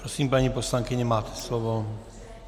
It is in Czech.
Prosím, paní poslankyně, máte slovo.